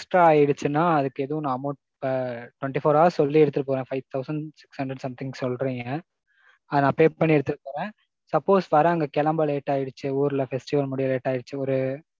extra ஆயிடிச்சுனா அதுக்கு ஏதும் நான் amount, twenty four hours சொல்லி எடுத்துருக்கேன். five thousand six hundred something சொல்றீங்க. அதே நான் pay பண்ணி எடுத்துட்டு போறேன். suppose வேற அங்க கிளம்ப late ஆயிடிச்சு ஊர்ல festival முடிய late ஆயிடிச்சு ஒரு